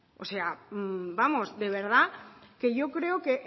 o sea vamos de verdad que yo creo que